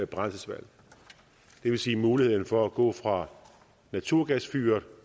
brændselsvalg det vil sige muligheden for at gå fra naturgasfyret